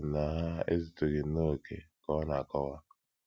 Echere m na ha ezutụghị nnọọ okè, ka ọ na - akọwa.